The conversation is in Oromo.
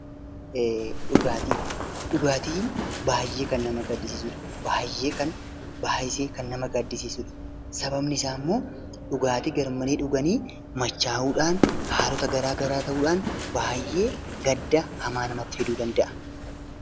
Dhugaatiin baay'ee kan nama gaddisiisudha! Baay'ee kan baay'isee kan nama gaddisiisudha! Sababni isaa immoo dhugaatii garmalee dhuganii machaa'uudhaan, haalota garaa garaa ta'uudhaan baay'ee gadda hamaa namatti fiduu danda'a.